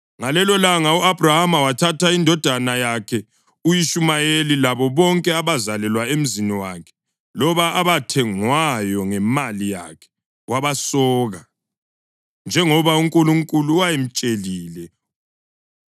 Ngalelolanga u-Abhrahama wathatha indodana yakhe u-Ishumayeli labo bonke abazalelwa emzini wakhe loba abathengwayo ngemali yakhe wabasoka, njengoba uNkulunkulu wayemtshelile.